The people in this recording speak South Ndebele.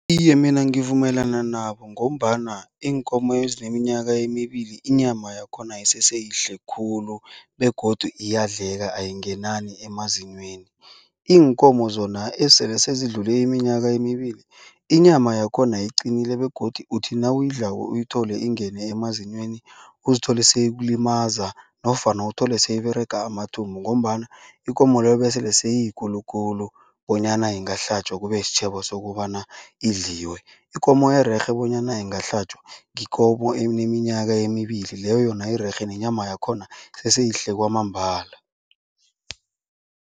Iye, mina ngivumelana nabo ngombana iinkomo ezineminyaka emibili inyama yakhona iseseyihle khulu begodu iyadleka ayingenani emazinyweni. Iinkomo zona esele sezidlule iminyaka emibili inyama yakhona iqinile begodu uthi nawuyidlako uyithole ingene emazinyweni. Uzithole seyikulimaza nofana uthole sele iberega amathumbu. Ngombana ikomo leyo besele seyiyikulu khulu bonyana ingahlatjwa kube sitjhebo sokobana idliwe. Ikomo ererhe bonyana ingahlatjwa yikomo eneminyaka emibili leyo yona irerhe nenyama yakhona iseseyihle kwamambala.